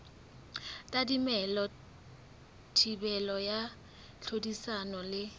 tadimilwe thibelo ya tlhodisano le